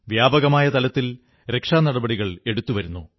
വ്യാപകമായ തലത്തിൽ രക്ഷാനടപടികൾ എടുക്കുന്നു